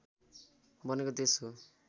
बनेको देश हो